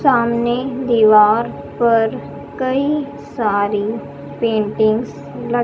सामने दीवार पर कई सारी पेंटिंग्स ल--